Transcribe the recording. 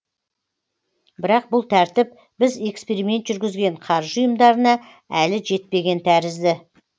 бірақ бұл тәртіп біз эксперимент жүргізген қаржы ұйымдарына әлі жетпеген тәрізді